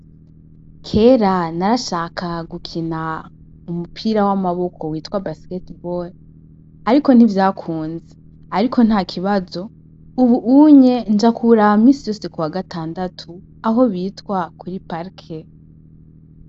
Kera narashaka gukina umupira wamaboko witwa basketball ariko ntivyakunze, ariko ntakibazo ubu unye nja kuwuraba minsi yose kuwagatandatu aho bitwa kuri Park.